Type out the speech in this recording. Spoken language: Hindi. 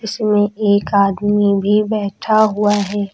उसमें एक आदमी भी बैठा हुआ है।